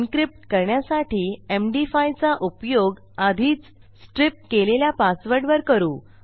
encrypt करण्यासाठी MD five चा उपयोग आधीचstripकेलेल्या पासवर्डवर करू